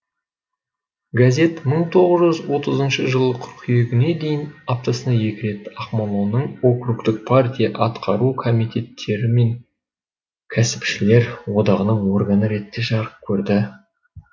газет мың тоғыз жүз отызыншы жылы қыркүйегіне дейін аптасына екі рет ақмоланың округтік партия атқару комитеттері мен кәсіпшілер одағының органы ретінде жарық көрді